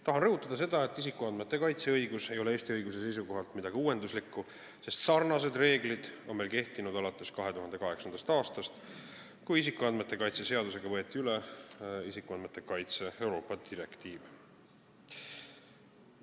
Tahan rõhutada, et isikuandmete kaitse õigus ei ole Eesti õiguse seisukohalt midagi uuenduslikku, sest sarnased reeglid on meil kehtinud alates 2008. aastast, kui isikuandmete kaitse seadusega võeti üle isikuandmete kaitse Euroopa direktiiv.